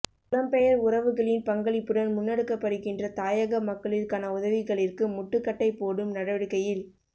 புலம்பெயர் உறவுகளின் பங்களிப்புடன் முன்னெடுக்கப்படுகின்ற தாயக மக்களிற்கான உதவிகளிற்கு முட்டுக்கட்டை போடும் நடவடிக்கையில்